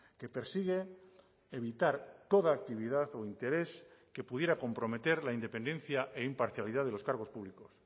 que persigue evitar toda actividad o interés que pudiera comprometer la independencia e imparcialidad de los cargos públicos